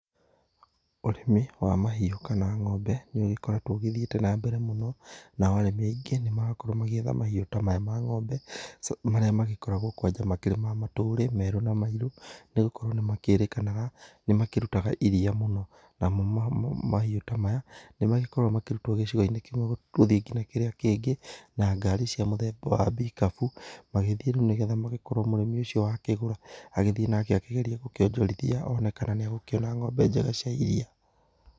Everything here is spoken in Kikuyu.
Ũrĩmi wa mahiũ kana ng'ombe nĩ ũgĩkoretwo ũgĩthiĩte na mbere mũno, nao arĩmi aingĩ nĩ marakorwo magĩetha mahiũ ta maya ma ng'ombe. Marĩa magĩkoragwo kwanja makĩrĩ ma matũrĩ merũ na mairũ nĩ gũkorwo nĩ kwĩrĩkanaga nĩ makĩrutaga iria mũno namo mahiu ta maya nĩ makoragwo makĩrutwo gĩcigo-inĩ kĩmwe gũthiĩ kĩrĩa kĩngĩ na ngari, cia mũthemba wa mbikabu. Magĩthiĩ rĩu magĩkore mũrĩmi ũcio wakĩgũra agĩthiĩ nake akĩgerie gũkĩonjorithia akĩgeria kana nĩ egũkĩona ng'ombe njega cia iria.